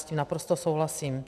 S tím naprosto souhlasím.